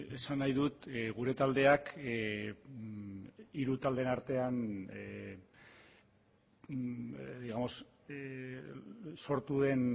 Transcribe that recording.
esan nahi dut gure taldeak hiru taldeen artean digamos sortu den